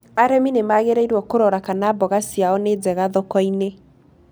Arĩmĩ nĩ magĩrĩirwo kũrora kana mboga ciao nĩ njega thoko-inĩ.